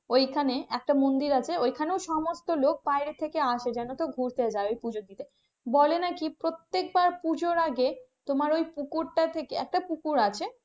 ওইখানে একটা মন্দির আছে ওখানেও সমস্ত লোক বাইরে থেকে আসে ঘুরতে যাই জানো তো পুজো দিতে বলে নাকি প্রত্যেক বার পুজোর আগে তোমার ওই পুকুরটা থেকে একটা পুকুর আছে.